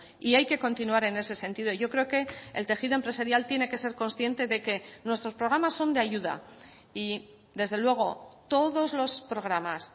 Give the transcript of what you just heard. y hay que continuar en ese sentido yo creo que el tejido empresarial tiene que ser consciente de que nuestros programas son de ayuda y desde luego todos los programas